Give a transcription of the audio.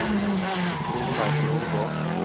Torleif Nordgård